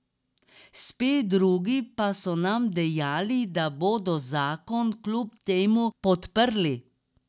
Spet drugi pa so nam dejali, da bodo zakon kljub temu podprli.